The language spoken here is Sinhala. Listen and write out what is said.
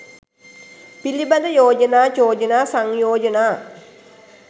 පිළිබඳ යෝජනා චෝදනා සංයෝජනා